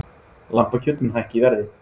Lambakjöt mun hækka í verði